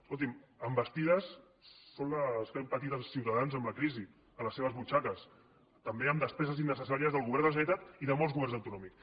escolti’m envestides són les que han patit els ciutadans amb la crisi a les seves butxaques també amb despeses innecessàries del govern de la generalitat i de molts governs autonòmics